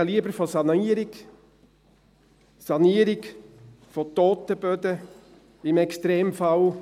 Ich spreche lieber von Sanierung – Sanierung von toten Böden im Extremfall.